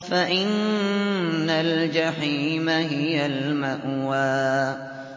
فَإِنَّ الْجَحِيمَ هِيَ الْمَأْوَىٰ